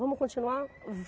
Vamos continuar?